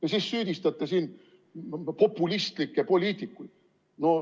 Ja siis süüdistate siin populistlikke poliitikuid.